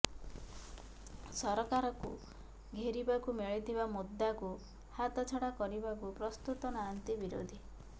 ସରକାରକୁ ଘେରିବାକୁ ମିଳିଥିବା ମୁଦ୍ଦାକୁ ହାତଛଡା କରିବାକୁ ପ୍ରସ୍ତୁତ ନାହାନ୍ତି ବିରୋଧୀ